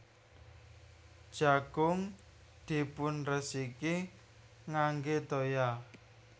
Jagung dipunresiki ngangge toya